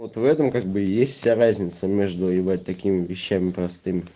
вот в этом как бы и есть вся разница между ебать такими вещами простыми